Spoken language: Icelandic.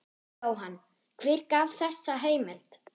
Jóhann: Hver gaf þessa heimild?